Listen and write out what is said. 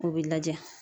O bɛ lajɛ